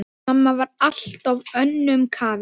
Mamma var alltaf önnum kafin.